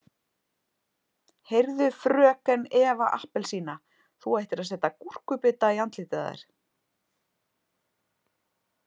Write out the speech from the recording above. Heyrðu FRÖKEN Eva appelsína þú ættir að setja gúrkubita í andlitið á þér.